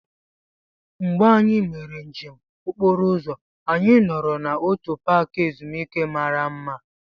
Mgbe anyị mere njem okporo ụzọ, anyị nọrọ n'otu paaki ezumike mara mma.